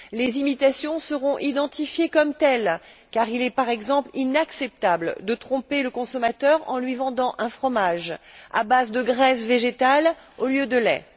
Les imitations seront identifiées comme telles car il est, par exemple, inacceptable de tromper le consommateur en lui vendant un fromage à base de graisse végétale au lieu de lait.